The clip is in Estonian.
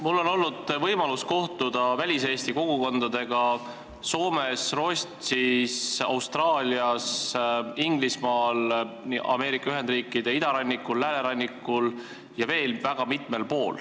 Mul on olnud võimalus kohtuda väliseesti kogukondadega Soomes, Rootsis, Austraalias, Inglismaal, Ameerika Ühendriikide idarannikul, läänerannikul ja veel väga mitmel pool.